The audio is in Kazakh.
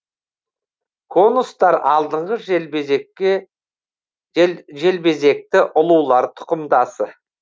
конустар алдыңғы желбезекті ұлулар тұқымдасы